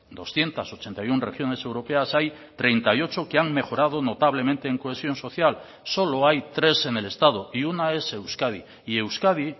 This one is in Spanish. doscientos ochenta y uno regiones europeas hay treinta y ocho que han mejorado notablemente en cohesión social solo hay tres en el estado y una es euskadi y euskadi